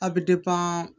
A bɛ